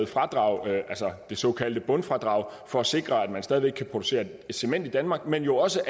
fradrag altså det såkaldte bundfradrag for at sikre at der stadig væk kan produceres cement i danmark men jo også